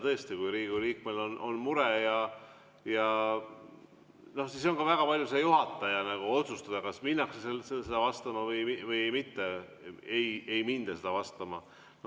Tõesti, kui Riigikogu liikmel on mure, siis on ka väga palju juhataja otsustada, kas minnakse sellele vastama või ei minda vastama.